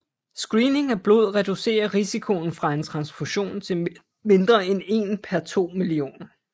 Screening af blod reducerer risikoen fra en transfusion til mindre end én per to millioner